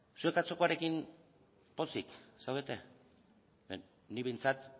zuek atzokoarekin pozik zaudete nik behintzat